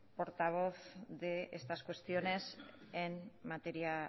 portavoz de estas cuestiones en materia